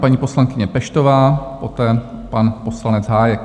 Paní poslankyně Peštová, poté pan poslanec Hájek.